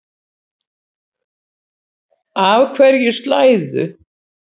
Af hverju slæðu?